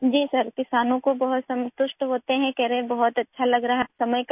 جی جناب، کسان بہت مطمئن ہیں اور کہہ رہے ہیں کہ وہ بہت اچھا محسوس کر رہے ہیں